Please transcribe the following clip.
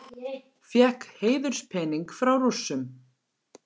Fékk heiðurspening frá Rússum